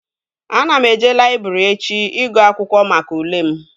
Ana m eje laịbrị echi ịgụ akwụkwọ maka ule m